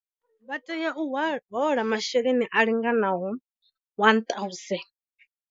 Vha tea u hola masheleni a linganaho R 1000.